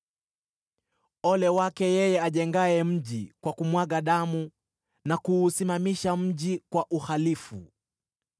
“Ole wake yeye ajengaye mji kwa kumwaga damu na kuusimamisha mji kwa uhalifu!